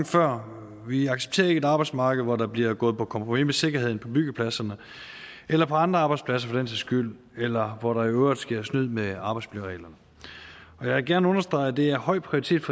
før vi accepterer ikke et arbejdsmarked hvor der bliver gået på kompromis med sikkerheden på byggepladserne eller på andre arbejdspladser for den sags skyld eller hvor der i øvrigt sker snyd med arbejdsmiljøreglerne jeg vil gerne understrege at det har høj prioritet